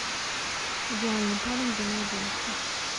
идеальный парень для моей девушки